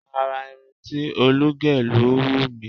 Àrà irun tí Olú gẹ̀ ló wù mí.